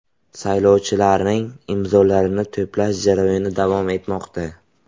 Saylovchilarning imzolarini to‘plash jarayoni davom etmoqda.